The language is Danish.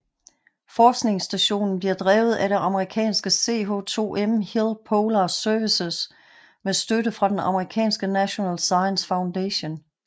Forskningsstationen bliver drevet af det amerikanske CH2M HILL Polar Services med støtte fra den amerikanske National Science Foundation